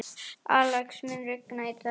Alex, mun rigna í dag?